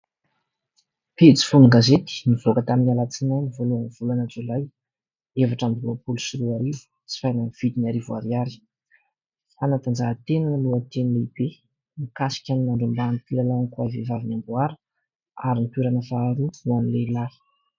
Pejy feon-gazety nivoka tamin'ny alatsinainy voloahany volana jolay efatra roapolo sy roarivo sy amin'ny vidiny arivo ariary. Fanadanjahantena no lohateny lehibe mikasika ny nandrombahan'ireo mpilalao ankoay vehivavy ny amboara ary ny toerana faharoa ho an'ny lehilahy.